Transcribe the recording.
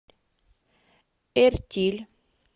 эртиль